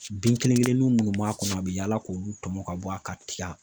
Bin kelen kelennin minnu b'a kɔnɔ a bɛ yaala k'olu tɔmɔ ka bɔ a ka tiga